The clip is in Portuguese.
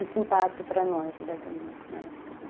Esse impacto para nós diretamente na época.